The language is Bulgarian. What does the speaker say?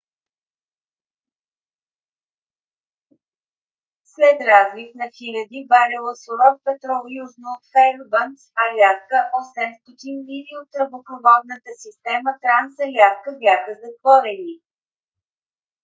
след разлив на хиляди барела суров петрол южно от феърбанкс аляска 800 мили от тръбопроводната система транс-аляска бяха затворени